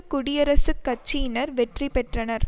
குடியரசுக் கட்சியினர் வெற்றி பெற்றனர்